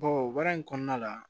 baara in kɔnɔna la